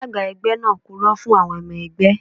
Alága ẹgbẹ́ náà purọ́ fún àwọn ọmọ ẹgbẹ́